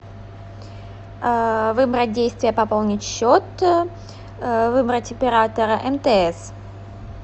выбрать действие пополнить счет выбрать оператора мтс